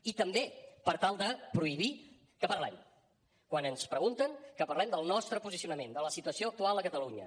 i també per tal de prohibir que parlem quan ens pregunten que parlem del nostre posicionament de la situació actual a catalunya